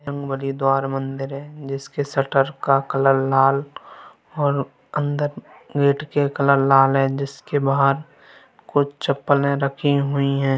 हरिद्वार मंदिर है जिसके सटर का कलर लाल और अंदर गेट के कलर लाल है जिसके बाहर कुछ चपले रखी हुई है।